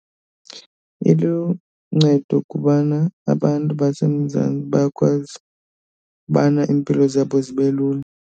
Iluncedo kubana abantu baseMzantsi bayakwazi ubana iimpilo zabo zibe lula.